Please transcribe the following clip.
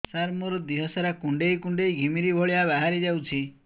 ସାର ମୋର ଦିହ ସାରା କୁଣ୍ଡେଇ କୁଣ୍ଡେଇ ଘିମିରି ଭଳିଆ ବାହାରି ଯାଉଛି